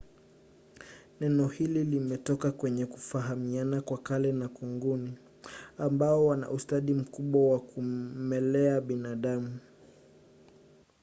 nenohili limetoka kwenye kufahamiana kwa kale na kunguni ambao wana ustadi mkubwa wa kumelea binadamu